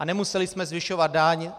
A nemuseli jsme zvyšovat daň.